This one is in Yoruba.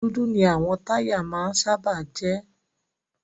Dúdú ni àwọn táyà máa ń sábà jẹ́.